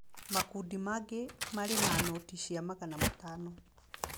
Makundi mangĩ marĩ na noti cia magana matano.